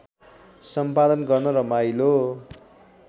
सम्पादन गर्न रमाइलो